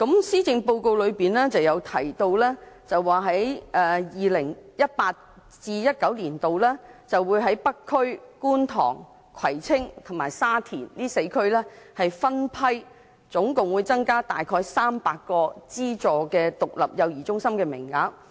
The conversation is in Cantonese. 施政報告中提到 ，2018-2019 年度會在北區、觀塘、葵青和沙田4區分批增加合共約300個資助獨立幼兒中心名額。